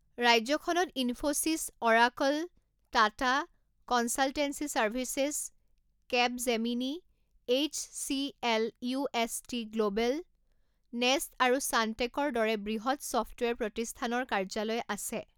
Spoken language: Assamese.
ৰাজ্যখনত Infosys, Oracle, Tata consultancy services, Capgemini, HCL., UST. Global, Nest আৰু চানটেকৰ দৰে বৃহৎ ছফ্টৱেৰ প্ৰতিস্থানৰ কাৰ্যালয় আছে।